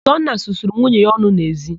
Ụzọnna susuru nwunye ya ọnụ n'ezi.